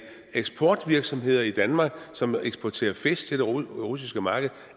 eksportvirksomheder i danmark som eksporterer fisk til det russiske marked